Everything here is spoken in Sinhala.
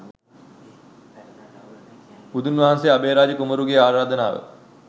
බුදුන් වහන්සේ අභයරාජ කුමරුගේ ආරාධනාව